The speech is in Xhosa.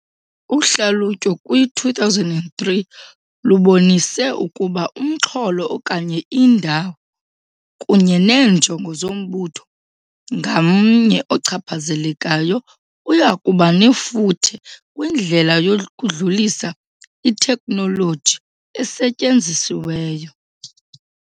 Uhlalutyo kwi-2003 lubonise ukuba umxholo, okanye indawo, kunye neenjongo zombutho ngamnye ochaphazelekayo uya kuba nefuthe kwindlela yokudlulisa iteknoloji esetyenzisiweyo.